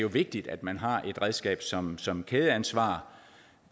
vigtigt at man har et redskab som som kædeansvar